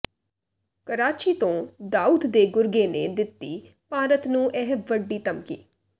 ਕਰਾਚੀ ਤੋਂ ਦਾਊਦ ਦੇ ਗੁਰਗੇ ਨੇ ਦਿੱਤੀ ਭਾਰਤ ਨੂੰ ਇਹ ਵੱਡੀ ਧਮਕੀ